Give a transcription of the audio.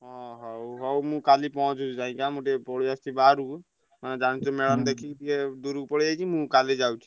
ହଁ ହଉ ହଉ ମୁଁ କାଲି ପହଁଞ୍ଚୁଚି ଯାଇକି ଆଁ ମୁଁ ଟିକେ ପଳେଇ ଆସିଚି ବାହାରକୁ। ଆଁ ଜାଣିଚୁନା ମୁଁ ଦେଖିକି ଟିକେ ଦୁରୁକୁ ପଳେଇଆଇଚି ମୁଁ କାଲି ଯାଉଛି।